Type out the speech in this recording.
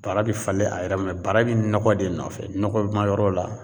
Bara bɛ falen a yɛrɛ ma, bara bɛ nɔgɔ de nɔfɛ, nɔgɔma yɔrɔ la